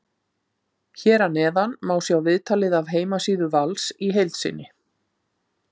Hér að neðan má sjá viðtalið af heimasíðu Vals í heild sinni.